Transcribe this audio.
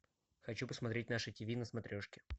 хочу посмотреть наше тв на смотрешке